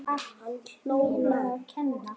Hann hló lágt.